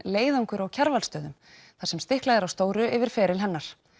leiðangur á Kjarvalsstöðum þar sem stiklað er á stóru yfir feril hennar